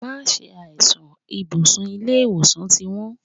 Má ṣe àìsàn, ibùsùn ilé ìwòsàn ti wón.